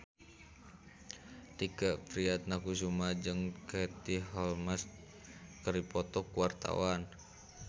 Tike Priatnakusuma jeung Katie Holmes keur dipoto ku wartawan